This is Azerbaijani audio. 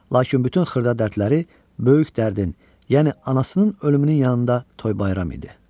Lakin bütün xırda dərdləri böyük dərdin, yəni anasının ölümünün yanında toy bayram idi.